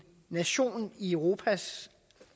nation i europas